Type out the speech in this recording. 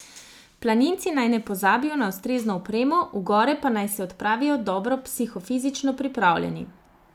Planinci naj ne pozabijo na ustrezno opremo, v gore pa naj se odpravijo dobro psihofizično pripravljeni.